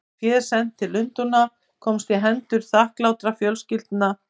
Var féð sent til Lundúna og komst í hendur þakklátra fjölskyldna í